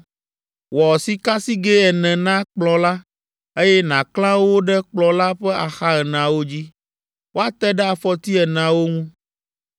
Wɔ sikasigɛ ene na kplɔ̃ la, eye nàklã wo ɖe kplɔ̃ la ƒe axa eneawo dzi, woate ɖe afɔti eneawo ŋu.